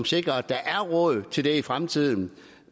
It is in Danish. sikrer at der er råd til det i fremtiden